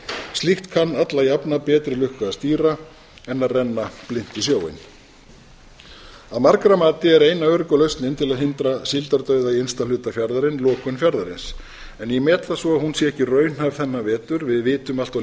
slíkt kann alla jafna betri lukku að stýra en að renna blint í sjóinn að margra mati er eina örugga lausnin til að hindra síldardauða í innsta hluta fjarðarins lokun fjarðarins en ég met það svo að hún sé ekki raunhæf þennan vetur við vitum allt of